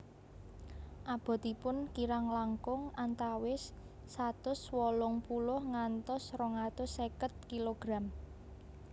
Abotipun kirang langkung antawis satus wolung puluh ngantos rong atus seket kilogram